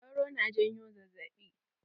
Sauro na janyo zazzaɓi.